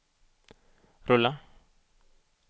rulla